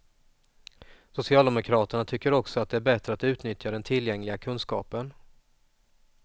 Socialdemokraterna tycker också att det är bättre att utnyttja den tillgängliga kunskapen.